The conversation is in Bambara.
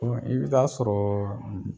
Dɔn i bɛ taa sɔrɔɔ